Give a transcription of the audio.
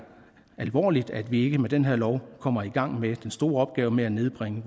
alvorligt at vi ikke med den her lov kommer i gang med den store opgave med at nedbringe